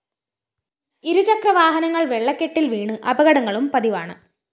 ഇരുചക്ര വാഹനങ്ങള്‍ വെള്ളക്കെട്ടില്‍ വീണ് അപകടങ്ങളും പതിവാണ്